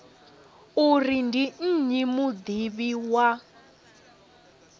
uri ndi nnyi mudivhi wa